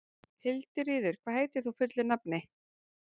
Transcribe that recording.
Hildiríður, hvað heitir þú fullu nafni?